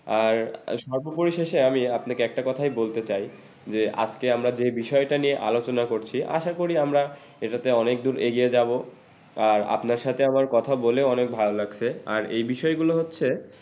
আর আ সর্বোপরি শেষে আমি আপনাকে একটা কথাই বলতে চাই যে আজকে আমরা যে বিষয়টা নিয়ে আলোচনা করছি আসা করি আমরা এটাতে অনেক দুর এগিয়ে যাবো। আর আপনার সাথে আমার কথা বলেও অনেক ভালো লাগছে আর এই বিষয় গুলো হচ্ছে